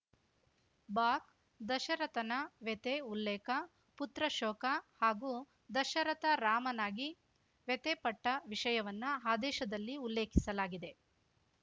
ಬಾಕ್ದಶರಥನ ವ್ಯಥೆ ಉಲ್ಲೇಖ ಪುತ್ರಶೋಕ ಹಾಗೂ ದಶರಥ ರಾಮನಾಗಿ ವ್ಯಥೆಪಟ್ಟವಿಷಯವನ್ನು ಆದೇಶದಲ್ಲಿ ಉಲ್ಲೇಖಿಸಲಾಗಿದೆ